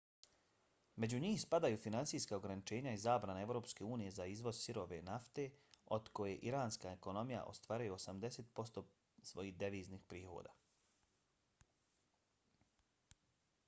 među njih spadaju financijska ograničenja i zabrana evropske unije za izvoz sirove nafte od koje iranska ekonomija ostvaruje 80% svojih deviznih prihoda